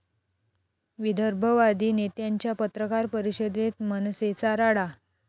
विदर्भवादी नेत्यांच्या पत्रकार परिषदेत मनसेचा राडा